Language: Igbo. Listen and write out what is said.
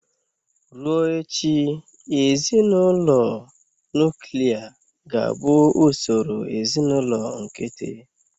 Ruo echi, ezinụlọ nuklia ga-abụ ụsọrọ ezinụlọ nkịtị.